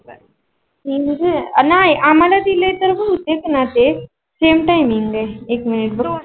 नाही आम्हाला ती दिले तर होते ना ते same timing आहे एक मिनिट बघते.